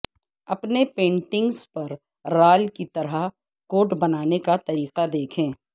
اپنے پینٹنگز پر رال کی طرح کوٹ بنانے کا طریقہ دیکھیں